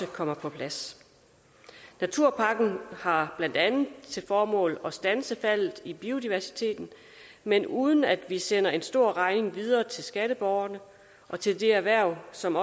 kommer på plads naturpakken har blandt andet til formål at standse faldet i biodiversiteten men uden at vi sender en stor regning videre til skatteborgerne og til det erhverv som